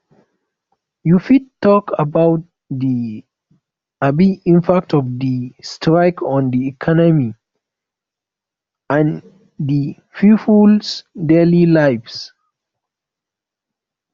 you fit talk about di um impact of di strike on di economy and di peoples daily lives